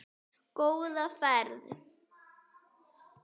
Góða ferð!